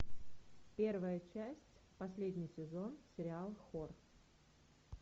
первая часть последний сезон сериал хор